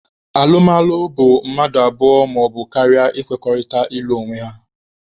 Alụmalụ bụ mmadụ abụọ maọbụ karịa ịkwekọrịta ịlụ onwe ha.